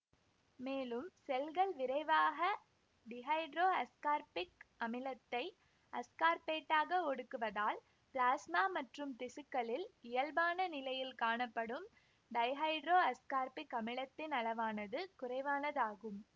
மேலும் செல்கள் விரைவாக டிஹைட்ரோஅஸ்கார்பிக் அமிலத்தை அஸ்கார்பேட்டாக ஒடுக்குவதால் பிளாஸ்மா மற்றும் திசுக்களில் இயல்பான நிலையில் காணப்படும் டைஹைட்ரோஅஸ்கார்பிக் அமிலத்தின் அளவானது குறைவானதாகும்